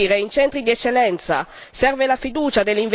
adeguate in materia di formazione, ricerca e innovazione